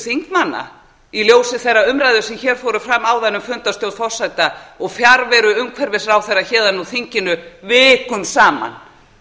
þingmanna í ljósi þeirra umræðna sem hér fóru fram áðan um fundarstjórn forseta og fjarveru umhverfisráðherra héðan úr þinginu vikum saman